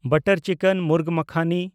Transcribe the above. butter chicken (ᱢᱩᱨᱜ ᱢᱟᱠᱷᱟᱱᱤ)